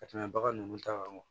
Ka tɛmɛ bagan nunnu ta kan